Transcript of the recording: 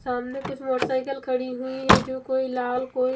सामने कुछ मोटरसाईकिल खड़ी हुई हैं जो कोई लाल कोई--